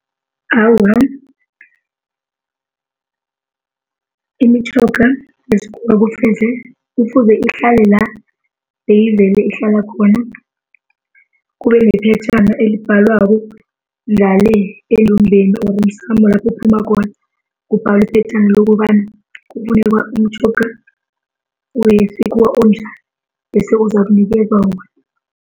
Awa, imitjhoga yesikhuwa kufuze ihlale la beyivele ihlala khona. Kube nephetjhana elibhalwako ngale endumbeni or emsamo lapho uphuma khona. Kubhalwe iphetjhana lokobana kufuneka umtjhoga wesikhuwa onjani bese uzakunikezwa wona.